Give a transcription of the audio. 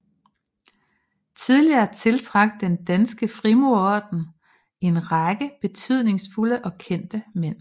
Tidligere tiltrak Den Danske Frimurerorden en række betydningsfulde og kendte mænd